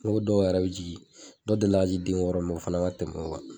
Ne ko dɔw yɛrɛ be jigi, dɔw delila ka jigi den wɔɔrɔ o fana ma tɛm'o kan.